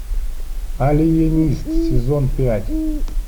алиенист сезон пять